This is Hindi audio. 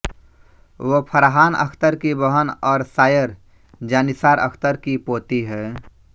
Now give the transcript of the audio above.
वो फरहान अख्तर की बहन और शायर जांनिसार अख्तर की पोती हैं